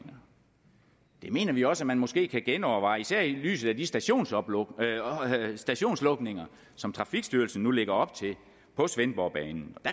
mener vi også at man måske kan genoverveje især i lyset af de stationslukninger stationslukninger som trafikstyrelsen nu lægger op til på svendborgbanen